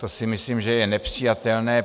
To si myslím, že je nepřijatelné.